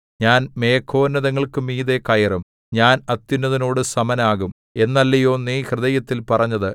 ഞാൻ മേഘോന്നതങ്ങൾക്കു മീതെ കയറും ഞാൻ അത്യുന്നതനോടു സമനാകും എന്നല്ലയോ നീ ഹൃദയത്തിൽ പറഞ്ഞത്